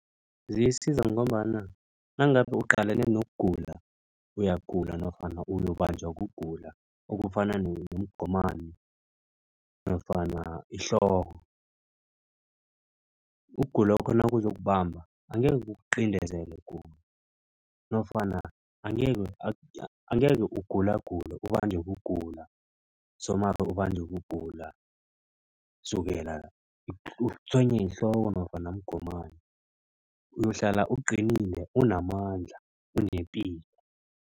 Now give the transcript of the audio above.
Ziyisiza ngombana nangabe uqalene nokugula. Uyagula nofana uyokubanjwa kugula okufana nomgomani nofana ihloko. Ukugulokho nakuzokubamba angekhe kuqindezele ukugula nofana angekhe ugulagule ubanjwe kugula somari ubanjwe kugula sukela utshwenya yihloko nofana mgomani. Uyohlala uqinile unamandla unepilo.